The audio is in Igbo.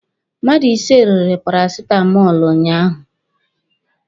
Mmadụ ise rere parasitamọlụ ụnyaahụ.